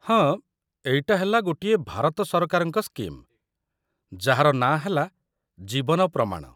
ହଁ, ଏଇଟା ହେଲା ଗୋଟିଏ ଭାରତ ସରକାରଙ୍କ ସ୍କିମ୍, ଯାହାର ନାଁ ହେଲା 'ଜୀବନ ପ୍ରମାଣ' ।